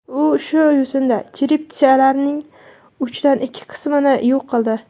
U shu yo‘sinda cherepitsalarning uchdan ikki qismini yo‘q qildi.